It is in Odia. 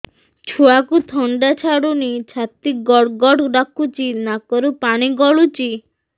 ଛୁଆକୁ ଥଣ୍ଡା ଛାଡୁନି ଛାତି ଗଡ୍ ଗଡ୍ ଡାକୁଚି ନାକରୁ ପାଣି ଗଳୁଚି